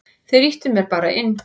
Þeir ýttu mér bara inn.